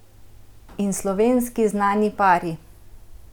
In slovenski znani pari?